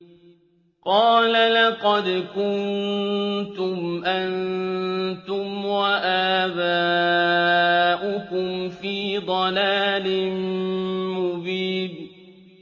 قَالَ لَقَدْ كُنتُمْ أَنتُمْ وَآبَاؤُكُمْ فِي ضَلَالٍ مُّبِينٍ